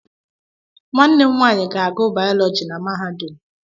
Nwanne m nwaanyị ga-agụ Bayọlọji na mahadum.